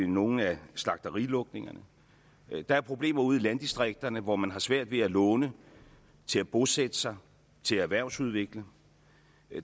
nogle af slagterilukningerne der er problemer ude i landdistrikterne hvor man har svært ved at låne til at bosætte sig til at erhvervsudvikle